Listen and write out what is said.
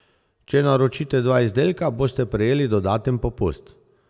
Če naročite dva izdelka, boste prejeli dodaten popust!